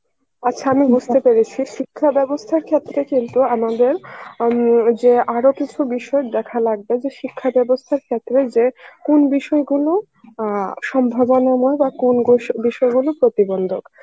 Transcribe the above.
আচ্ছা আমি বুঝতে পেরেছি শিক্ষাব্যবস্থা ক্ষেত্রে কিন্তু আমাদের আম যে আরো কিছু বিষয়ে দেখা লাগবে যে শিক্ষা ব্যবস্থার ক্ষেত্রে যে কোন বিষয়গুলো আ সম্ভাবনা নয় বা কোন গো~ বিষয়গুলো প্রতিবন্ধক